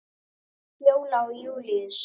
Fjóla og Júlíus.